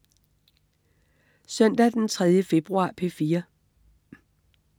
Søndag den 3. februar - P4: